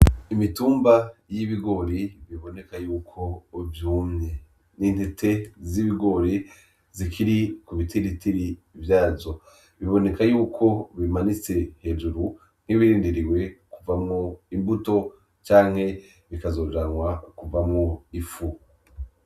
Imitumba y’ibigori biboneka yuko vyumye . Ni intete z’ibigori zikiri ku bitiritiri vyazo. Biboneka yuko bimanitse hejuru nk’ibirindiriwe kuvamwo imbuto canke bikazojanwa kuvamwo ifu.